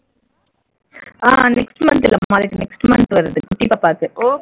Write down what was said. ஆஹ் next month இல்லம்மா அதுக்கு next month வருது குட்டி பாப்பாக்கு